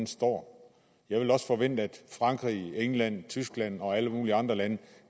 står jeg ville også forvente at frankrig england tyskland og alle mulige andre lande